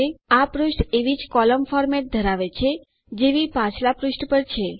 આ પુષ્ઠ એવી જ કોલમ ફોર્મેટ ધરાવે છે જેવી પાછલા પુષ્ઠ પર છે